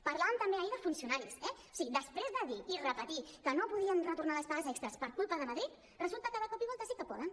parlàvem també ahir de funcionaris eh o sigui després de dir i repetir que no podien retornar les pagues extres per culpa de madrid resulta que de cop i volta sí que poden